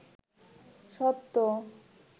সত্য